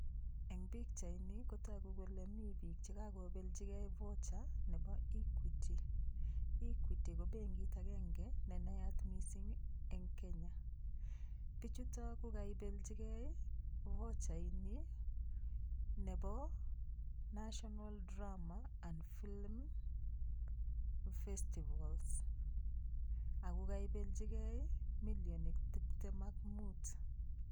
Eng' pikchaini kotoku kole mi biik chekakobelchigei voucher nebo equity equity ko benkit agenge ne nayat mising' eng' Kenya bichuto kukaibelchigei vochaini nebo national drama and film festivals ako kaibelchigei milionit tiptem ak muut